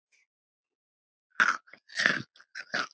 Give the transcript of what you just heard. Þeim kann að fjölga frekar.